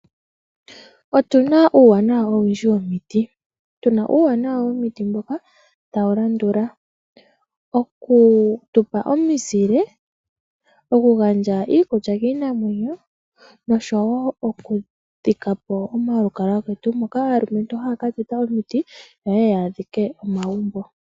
Otuna uuwanawa owundji womiti. Tuna uuwanawa womiti mboka tawu landula; okutupa omizile, okugandja iikulya kiinamwenyo, noshowo okudhikapo omalukalwa getu, moka aalumentu haya ka teta omiti, opo yeye yadhike omagumbo.